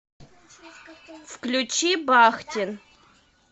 включи бахтин